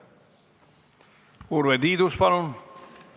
Urve Tiidus, palun!